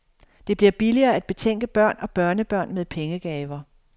Det bliver billigere at betænke børn og børnebørn med pengegaver.